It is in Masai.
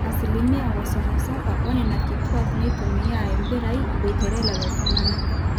ore asilimia 37% oonena kituaak neitumia impirai eboitare lelo tung'anak